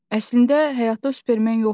"Əslində, həyatda o Superman yoxdur.